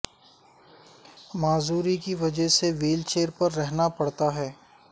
معذوری کی وجہ سے ویل چیئر پر رہنا پڑتا ہے